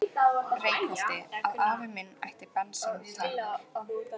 Reykholti, að afi minn ætti bensíntank.